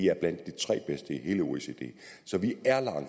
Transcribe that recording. er blandt de tre bedste i hele oecd så vi